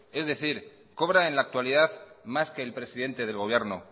es decir cobra en la actualidad más que el presidente del gobierno